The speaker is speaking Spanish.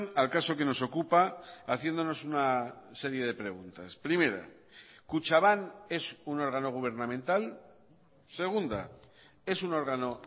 al caso que nos ocupa haciéndonos una serie de preguntas primera kutxabank es un órgano gubernamental segunda es un órgano